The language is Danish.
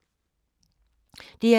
DR2